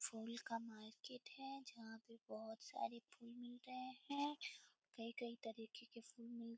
फूल का मार्केट है जहां पर बहुत सारे फूल मिल रहे है कई-कई तरीके के फूल मिल --